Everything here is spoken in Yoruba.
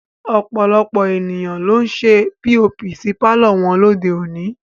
Ọ̀pọ̀lọpọ̀ ènìyàn ló ń ṣe POP sí pàlọ́ wọn lóde òní